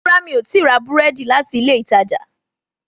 Rárá mi o ti ra búrẹ́dì láti ilé ìtajà